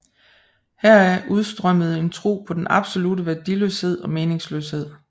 Heraf udstrømmer en tro på den absolutte værdiløshed og meningsløshed